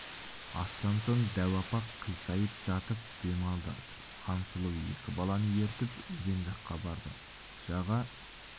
астан соң дәу апа қисайып жатып дем алды хансұлу екі баланы ертіп өзен жаққа барды жаға